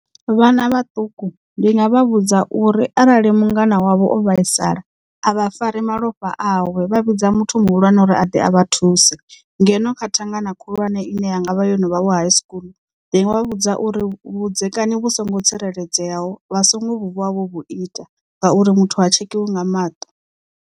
Vhana vhaṱuku ndi nga vha vhudza uri arali mungana wavho o vhaisala a vha fari malofha awe vha vhidza muthu muhulwane uri a ḓe a vha thuse. Ngeno kha thangana khulwane ine ya ngavha yono vha vho high school ndi nga vha vhudza uri vhudzekani vhu songo tsireledzeaho vha songo vuwa vho vhu ita ngauri muthu ha tshekhiwa nga maṱo.